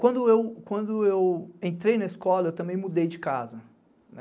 Quando eu, quando eu entrei na escola, também mudei de casa.